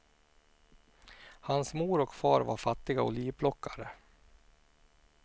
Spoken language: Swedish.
Hans mor och far var fattiga olivplockare.